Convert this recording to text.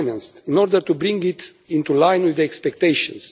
in order to bring it into line with expectations.